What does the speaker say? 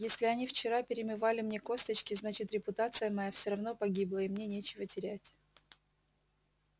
если они вчера перемывали мне косточки значит репутация моя все равно погибла и мне нечего терять